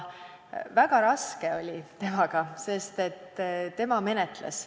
Väga raske oli temaga, sest tema menetles.